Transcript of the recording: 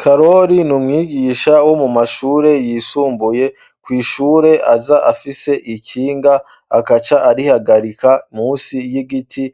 Karori niumwigisha wo mu mashure yisumbuye ku ishure aza afise ikinga akaca arihagarika munsi y'igiti